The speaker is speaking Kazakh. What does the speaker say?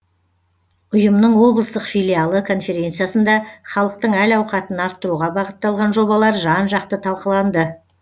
ұйымның облыстық филиалы конференциясында халықтың әл ауқатын арттыруға бағытталған жобалар жан жақты талқыланды